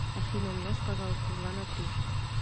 афина умножь пожалуйста два на три